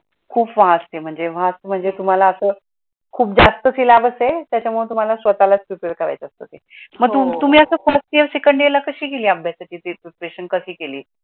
खूप vast आहे म्हणजे vast म्हणजे तुम्हाला असं, खूप जासत सीलेबस आहे, त्याच्यामुळे तुम्हाला ते स्वतःला प्रिपेरे करायचं असतं ते. मग तुम्ही आता फर्स्ट इयर, सेकंड इयरच प्रिपेरेशन कशी केली